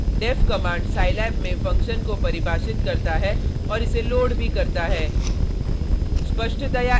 deff command scilab में function को परिभाषित करता है और इसे लोड भी करता है